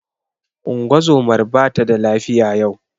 Ungozomar ba tada lafiya yau.